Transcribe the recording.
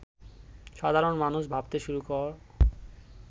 সাধারণ মানুষ ভাবতে শুরু কর